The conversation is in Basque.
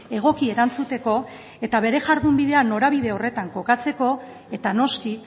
egoki erantzuteko eta bere jardunbidea norabide horretan kokatzeko eta noski